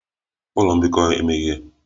Ụlọ mbikọ emeghe?